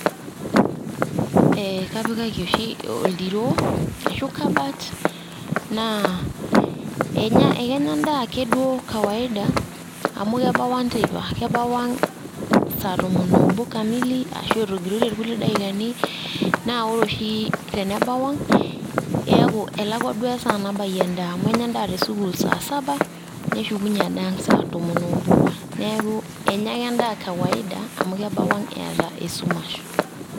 eee kapik oshi odiroo ashu kabat naa enya ekenya endaa ake duoo kawaida amu kebau ang teipa kebau ang saa tomon obo kamili ashu etogirotie irkuti daikani naa ore oshi tenebau ang eaku elakwa duoo esaa nabayie endaa amu enya endaa te sukuul saa saba neshukunyie ade ang saa tomon obo neaku enya ake endaa kawaida amu kebau ang eeta esumash